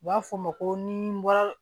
U b'a fɔ o ma ko ni n bɔra